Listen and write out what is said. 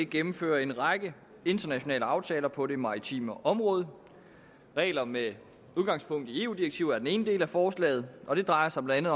gennemfører en række internationale aftaler på det maritime område regler med udgangspunkt i eu direktiver er den ene del af forslaget og det drejer sig blandt